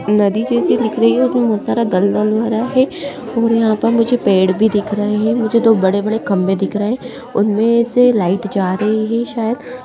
नदी जैसी दिख रही है उसमें बहुत सारा दलदल भरा है और यहाँ पर मुझे पेड़ भी दिख रहे है मुझे दो बड़े-बड़े खम्बे दिख रहे है उनमें से लाइट जा रही है शायद --